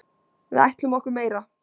Við ætlum okkur meira.